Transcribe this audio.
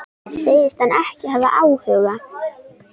Segist hann ekki hafa áhuga?